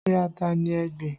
Ṣé ata ni ẹ gbìn?